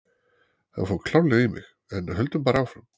Hann fór klárlega í mig, en höldum bara áfram.